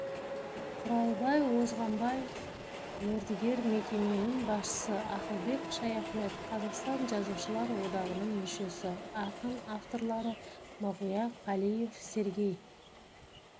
құралбай озғанбаев мердігер мекеменің басшысы ақылбек шаяхмет қазақстан жазушылар одағының мүшесі ақын авторлары мағауия қалиев сергей